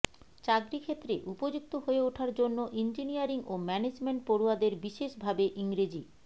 চাকরি ক্ষেত্রে উপযুক্ত হয়ে ওঠার জন্য ইঞ্জিনিয়ারিং ও ম্যানেজমেন্ট পড়ুয়াদের বিশেষ ভাবে ইংরেজি